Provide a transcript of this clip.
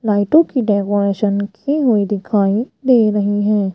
लाइटों की डेकोरेशन की हुई दिखाई दे रही है।